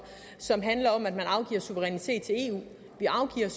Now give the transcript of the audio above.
som handler om at man afgiver suverænitet til eu vi afgiver